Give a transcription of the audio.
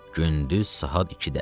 Gündüz saat 2-də.